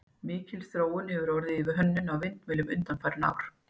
Mikil þróun hefur orðið í hönnun á vindmyllum undanfarin ár.